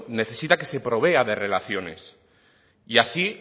necesita que se provea de relaciones y así